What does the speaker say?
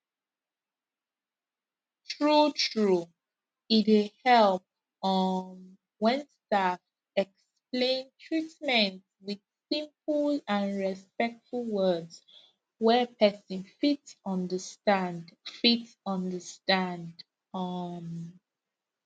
truetrue e dey help um when staff explain treatment with simple and respectful words wey person fit understand fit understand um